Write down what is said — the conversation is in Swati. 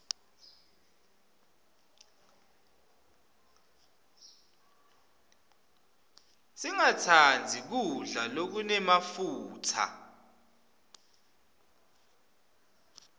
singastandzi kudla lokunemafutsa